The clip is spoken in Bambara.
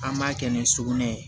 An ma kɛ ni sugunɛ ye